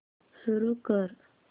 सुरू कर